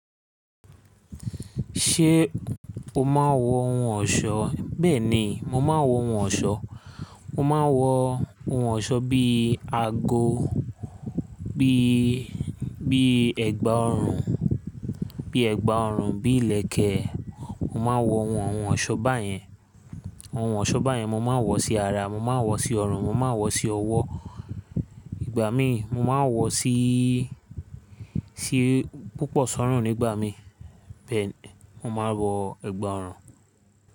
Ṣé o máa ń wọ ohun ọ̀ṣọ́? Bẹ́ẹ̀ni, mo máa ń wọ ohun ọ̀ṣọ́. Mo máa ń wọ ohun ọ̀ṣọ́ bí àgọ, bí, bí ẹ̀gbà ọrùn, bí ẹ̀gbà ọrùn, bí ìlẹ̀kẹ̀. Mo máa ń wọ àwọn ohun ọ̀ṣọ́ báyẹn. Àwọn ohun ọ̀ṣọ́ báyẹn mo máa ń wọ sí ara, mo máa ń wọ sí ọrùn, mo máa ń wọ sí ọwọ́. Ìgbà mí, mo máa ń wọ sí, sí púpọ̀ sọ́rùn nígbà mí. Bẹ́ẹ̀ ni, mo máa ń wọ ẹ̀gbà ọrùn.